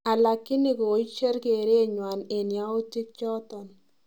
ALakini koicher keret nywan en yautik choton